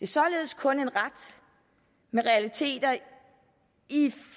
således kun en ret med realiteter